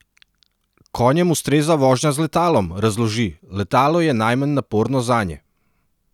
Konjem ustreza vožnja z letalom, razloži: "Letalo je najmanj naporno zanje.